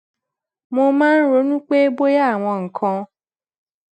mo máa ń ronú pé bóyá àwọn nǹkan